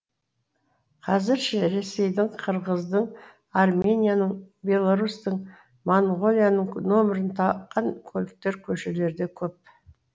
қазір ше ресейдің қырғыздың арменияның беларусьтің моңғолияның нөмірін таққан көліктер көшелерде көп